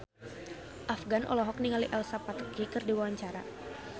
Afgan olohok ningali Elsa Pataky keur diwawancara